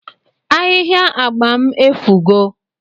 Ahihia agba m efugo